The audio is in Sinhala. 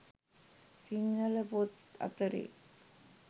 සිංහල පොත් අතරේ